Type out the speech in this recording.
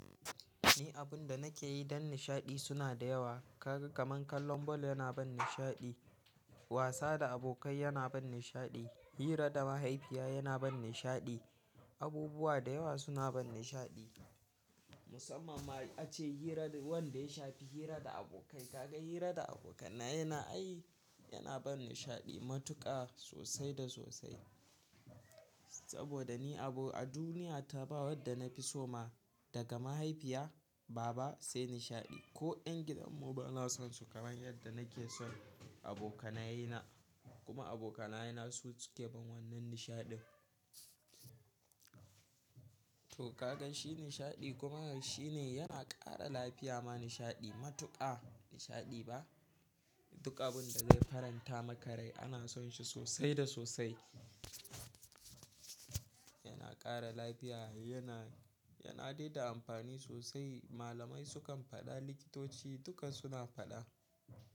Ni abun da nake yi don nishaɗi suna da yawa. Kaga kamar kallon ball yana ban nishaɗi, wasa da abokai yana ban nishaɗi, hira da mahaifiya yana ban nishaɗi. Abubuwa da yawa suna bani nishaɗi. Musamman ma ace hira wanda ya shafi hira da abokai. Kaga hira da abokanai yana, ai yana bani nishaɗi matuƙa sosai da sosai. Saboda ni abu a duniya ta ba wadda na fi so ma daga mahaifiya, baba sai nishaɗi. Ko ƴan gidan mu ba na son su kamar yadda nake son abokanaye na. Kuma abokanaye na su suke ban wannan nishaɗin. To kaga shi nishaɗi kuma shi ne yana ƙara lafiya ma nishaɗi matuƙa nishaɗi ba. Duk abun da zai faranta makarai ana son shi sosai da sosai. Yana ƙara lafiya, yana, yana daida amfani sosai. Malamai sukan faɗa, likitoci duka suna faɗa.